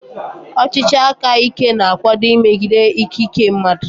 Ọchịchị aka ike na-akwado mmegide ikike mmadụ.